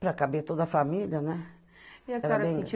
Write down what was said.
Para caber toda a família, né? E a senhora sentiu